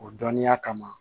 O dɔnniya kama